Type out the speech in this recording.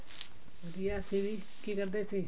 ਵਧੀਆ ਅਸੀਂ ਵੀ ਕੀ ਕਰਦੇ ਸੀ